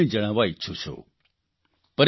જે હું આપને જણાવવા ઇચ્છું છું